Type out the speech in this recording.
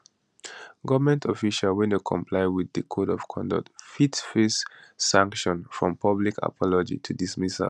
goment officials wey no comply wit di code of conduct fit face sanctions from public apology to dismissal